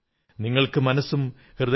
നിങ്ങൾക്കു മനസ്സും ഹൃദയവുമുണ്ടാകട്ടെ